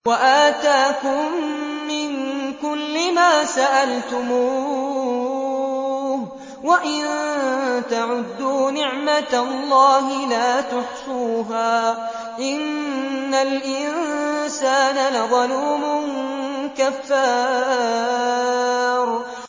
وَآتَاكُم مِّن كُلِّ مَا سَأَلْتُمُوهُ ۚ وَإِن تَعُدُّوا نِعْمَتَ اللَّهِ لَا تُحْصُوهَا ۗ إِنَّ الْإِنسَانَ لَظَلُومٌ كَفَّارٌ